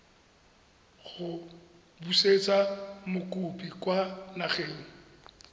go busetsa mokopi kwa nageng